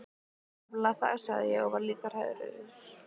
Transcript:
Það er nefnilega það, sagði ég og var líka hrærður.